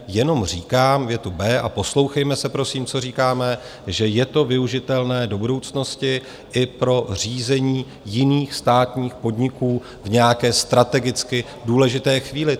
Jenom říkám větu B, a poslouchejme se prosím, co říkáme - že je to využitelné do budoucnosti i pro řízení jiných státních podniků v nějaké strategicky důležité chvíli.